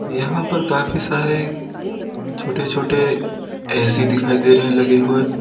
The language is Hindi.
यहां पर काफी सारे छोटे छोटे ए_सी दिखाई दे रहे हैं लगे हुए।